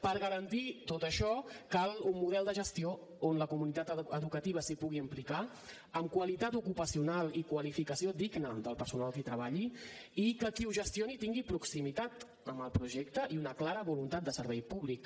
per garantir tot això cal un model de gestió on la comunitat educativa s’hi pugui implicar amb qualitat ocupacional i qualificació digna del personal que hi treballi i que qui ho gestioni tingui proximitat amb el projecte i una clara voluntat de servei públic